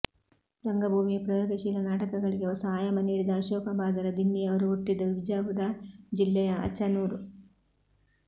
ರಂಗಭೂಮಿಯ ಪ್ರಯೋಗಶೀಲ ನಾಟಕಗಳಿಗೆ ಹೊಸ ಆಯಾಮ ನೀಡಿದ ಅಶೋಕ ಬಾದರ ದಿನ್ನಿಯವರು ಹುಟ್ಟಿದ್ದು ವಿಜಾಪುರ ಜಿಲ್ಲೆಯ ಅಚನೂರು